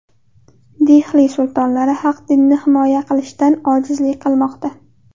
Dehli sultonlari haq dinni himoya qilishdan ojizlik qilmoqda.